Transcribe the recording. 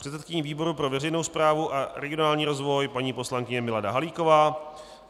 předsedkyní výboru pro veřejnou správu a regionální rozvoj paní poslankyně Milada Halíková,